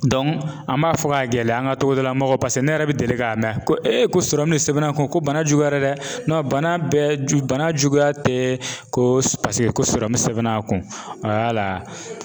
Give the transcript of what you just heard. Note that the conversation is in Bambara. an b'a fɔ ka gɛlɛya an ka togoda lamɔgɔw paseke ne yɛrɛ bɛ deli k'a mɛn ko ko sɔrɔmu sɛbɛn n'a kun ko bana juguyara dɛ bana bɛɛ ju bana juguya tɛ ko paseke ko sɔrɔ sɛbɛnna kun wala.